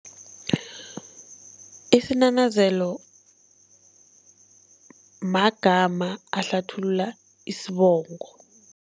Isinanazelo magama ahlathulula isibongo.